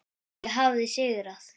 Ég hafði sigrað.